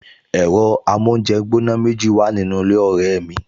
Ẹ̀rọ amóúnjẹgbóná méjì wà nínú ilé ọ̀rẹ́ mi